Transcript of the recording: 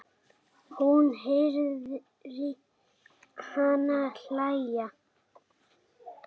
Hún heyrir hana hlæja.